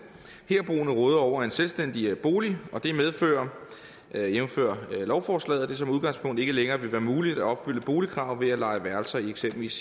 herboende råder over en selvstændig bolig det medfører jævnfør lovforslaget at det som udgangspunkt ikke længere vil være muligt at opfylde boligkravet ved at leje værelser i eksempelvis